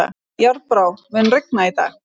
Járnbrá, mun rigna í dag?